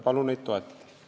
Palun neid toetada!